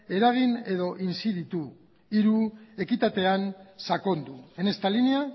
eragin edo inziditu hiru ekitatean sakondu en esta línea